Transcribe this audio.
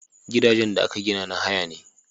Gidajen da aka gina na haya ne